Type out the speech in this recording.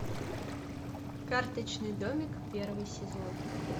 карточный домик первый сезон